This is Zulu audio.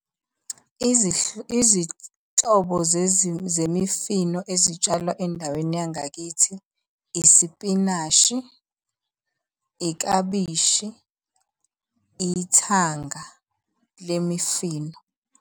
Izinhlobo zemifino ezitshalwa endaweni yangakithi, isipinashi, iklabishi, ithanga lemifino.